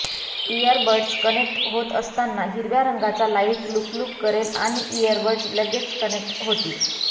year buds connect होत असतांना हिरव्या रंगचा लाईट लुकलुक करेल आणि इअरबड्स लगेच कनेक्ट होतील